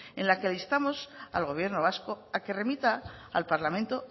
en la que le instamos al gobierno vasco a que remita al parlamento